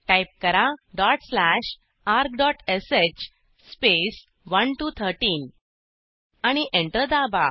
type करा dot slash argश space 1 T O 13 आणि एंटर दाबा